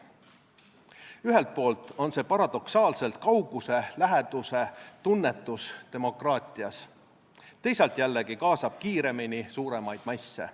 Ühelt poolt on see paradoksaalselt kauguse-läheduse tunnetus demokraatias, teisalt jällegi kaasab kiiremini suuremaid masse.